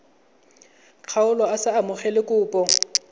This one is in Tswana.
kgaolo a sa amogele kopo